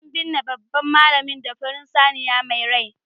an binne babban malami da farin saniya mai rai